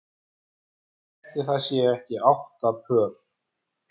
Ætli það séu ekki átta pör.